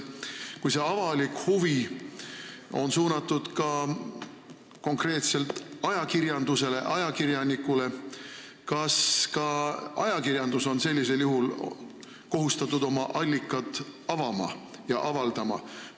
Kui see avalik huvi on suunatud näiteks konkreetsele ajakirjanikule, siis kas ka ajakirjandus on kohustatud oma allika avaldama?